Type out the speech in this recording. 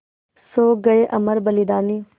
सो गये अमर बलिदानी